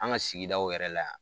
An ka sigidaw yɛrɛ la yan